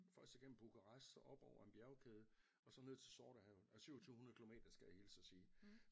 Først igennem Bukarest så op over en bjergkæde og så ned til Sortehavet 27 hundrede kilometer skal jeg hilse at sige